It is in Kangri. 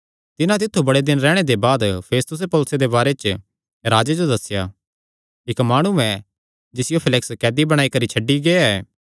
तिन्हां तित्थु बड़े दिन रैहणे दे बाद फेस्तुसें पौलुसे दे बारे च राजे जो दस्सेया इक्क माणु ऐ जिसियो फेलिक्स कैदी बणाई करी छड्डी गेआ ऐ